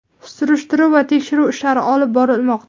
Surishtiruv va tekshiruv ishlari olib borilmoqda.